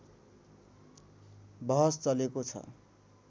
बहस चलेको छ